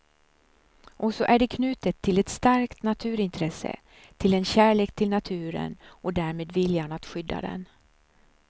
Och så är det knutet till ett starkt naturintresse, till en kärlek till naturen och därmed viljan att skydda den.